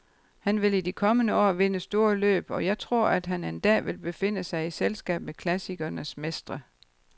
Han vil i de kommende år vinde store løb, og jeg tror, at han en dag vil befinde sig i selskab med klassikernes mestre.